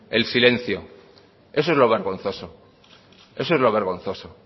el silencio eso es lo vergonzoso